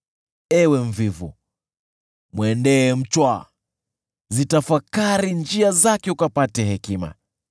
Ewe mvivu, mwendee mchwa; zitafakari njia zake ukapate hekima!